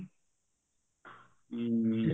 ਹਮ